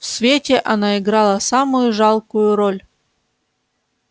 в свете она играла самую жалкую роль